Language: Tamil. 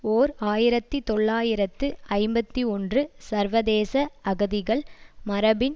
ஓர் ஆயிரத்தி தொள்ளாயிரத்து ஐம்பத்தி ஒன்று சர்வதேச அகதிகள் மரபின்